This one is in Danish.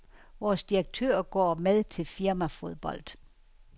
Vores direktør går med til firmafodbold.